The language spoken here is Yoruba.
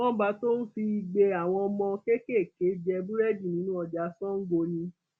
wọn bá a tó ń fi igbe àwọn ọmọ kéékèèkéè jẹ búrẹdì nínú ọjà sanngo ni